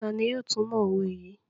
Tani yóò tumọ owe yii?